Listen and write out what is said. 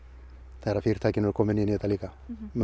þegar fyrirtæki verða komin inn í þetta líka